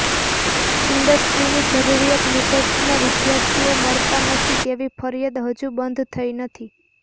ઈન્ડસ્ટ્રીની જરૂરિયાત મુજબના વિદ્યાર્થીઓ મળતા નથી તેવી ફરિયાદ હજુ બંધ થઈ નથી